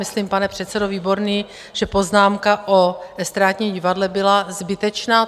Myslím, pane předsedo Výborný, že poznámka o estrádním divadle byla zbytečná.